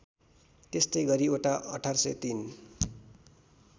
त्यस्तै गरि ओटो १८०३